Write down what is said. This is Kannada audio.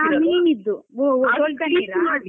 ಹಾ ಮೀನಿದ್ದು .